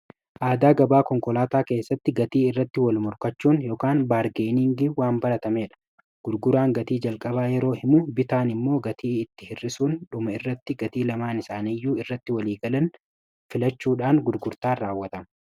Aadaa gabaa konkolaataa keessatti gatii irratti wal-morkachuun baargeeniingiin waanbaratamedha. Gurguraan gatii jalqabaa yeroo himu bitaan immoo gatii itti hir'isuun dhuma irratti gatii lamaan isaaniiyyuu irratti waliigalan filachuudhaan gurgurtaan raawwatama.